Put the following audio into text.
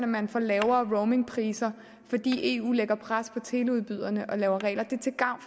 man får lavere roamingpriser fordi eu lægger pres på teleudbyderne og laver regler det er til gavn